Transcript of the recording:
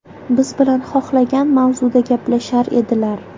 Biz bilan xohlagan mavzuda gaplashar edilar.